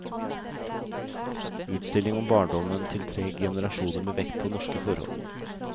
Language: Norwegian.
Utstilling om barndommen til tre generasjoner med vekt på norske forhold.